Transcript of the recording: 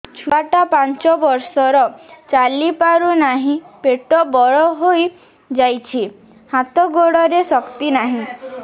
ଛୁଆଟା ପାଞ୍ଚ ବର୍ଷର ଚାଲି ପାରୁ ନାହି ପେଟ ବଡ଼ ହୋଇ ଯାଇଛି ହାତ ଗୋଡ଼ରେ ଶକ୍ତି ନାହିଁ